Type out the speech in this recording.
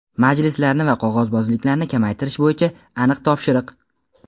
Majlislarni va qog‘ozbozlikni kamaytirish bo‘yicha aniq topshiriq!.